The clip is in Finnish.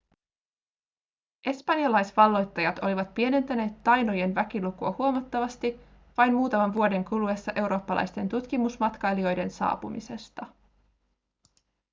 espanjalaisvalloittajat olivat pienentäneet tainojen väkilukua huomattavasti vain muutaman vuoden kuluessa eurooppalaisten tutkimusmatkailijoiden saapumisesta